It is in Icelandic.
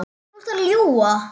Þú ert að ljúga!